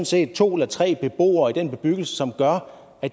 set to eller tre beboere i en bebyggelse som gør at